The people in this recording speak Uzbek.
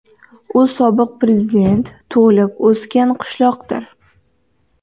U sobiq prezident tug‘ilib-o‘sgan qishloqdir.